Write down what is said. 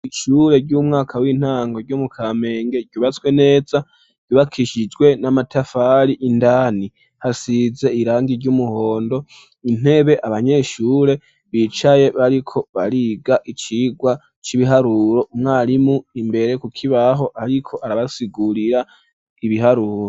Ishure ry'umwaka w'intango ryo mu Kamenge ryubatswe neza, ryubakishijwe n'amatafari indani hasize irangi ry'umuhondo ,intebe abanyeshure bicaye bariko bariga icigwa c'ibiharuro, umwarimu imbere kukibaho ariko arabasigurira ibiharuro.